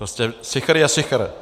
Prostě sichr je sichr.